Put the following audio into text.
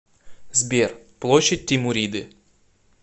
сбер площадь тимуриды